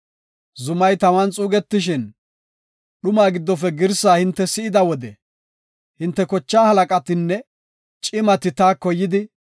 Zumay taman xuugetishin, dhumaa giddofe girsaa hinte si7ida wode hinte kochaa halaqatinne cimati taako yidi,